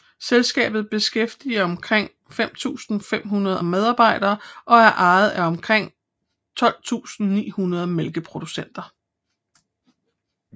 Selskabet beskæftiger omkring 5500 medarbejdere og er ejet af omkring 12900 mælkeproducenter